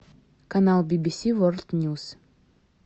канал би би си ворлд ньюс